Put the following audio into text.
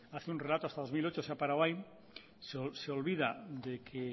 hace un relato hasta dos mil ocho se ha parado ahí se olvida de que